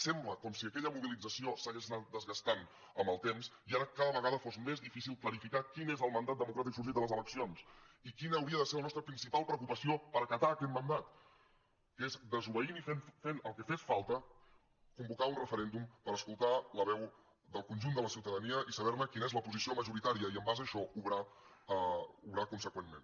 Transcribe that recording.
sembla com si aquella mobilització s’hagués anat desgastant amb el temps i ara cada vegada fos més difícil clarificar quin és el mandat democràtic sorgit de les eleccions i quina hauria de ser la nostra principal preocupació per acatar aquest mandat que és desobeint i fent el que fes falta convocar un referèndum per escoltar la veu del conjunt de la ciutadania i saber ne quina és la posició majoritària i en base a això obrar conseqüentment